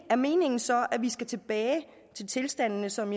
er meningen så at vi skal tilbage til tilstandene som